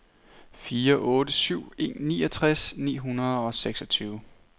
fire otte syv en niogtres ni hundrede og seksogtyve